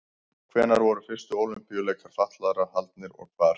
Hvenær voru fyrstu Ólympíuleikar fatlaðra haldnir og hvar?